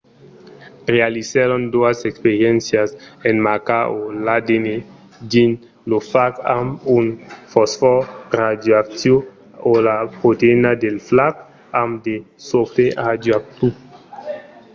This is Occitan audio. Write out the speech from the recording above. realizèron doas experiéncias en marcar o l'adn dins lo fag amb un fosfòr radioactiu o la proteïna del fag amb de sofre radioactiu